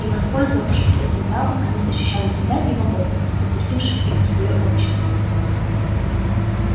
и воспользовавшись этим правом они защищали себя и богов допустивших их в своё общество